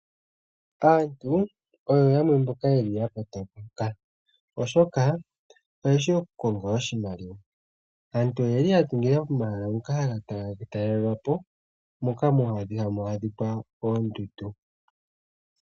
Aantu oyo yamwe mboka yeli ya kotoka, oshoka oyeshi okukonga oshimaliwa. Aantu oyeli ya dhingilila komahala ngoka haga talelwapo, moka hamu adhika oondundu.